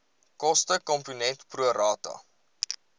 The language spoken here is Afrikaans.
kostekomponent pro rata